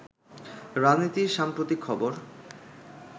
রাজনীতির সাম্প্রতিক খবর